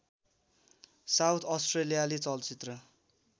south अस्ट्रेलियाली चलचित्र